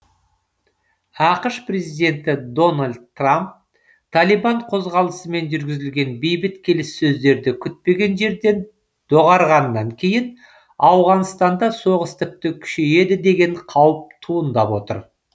ақш президенті дональд трамп талибан қозғалысымен жүргізілген бейбіт келіссөздерді күтпеген жерден доғарғаннан кейін ауғанстанда соғыс тіпті күшейеді деген қауіп туындап отыр